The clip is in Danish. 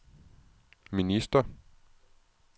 minister